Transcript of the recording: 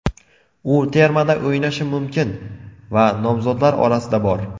U termada o‘ynashi mumkin va nomzodlar orasida bor.